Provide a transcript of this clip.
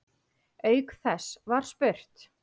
Auk þess var spurt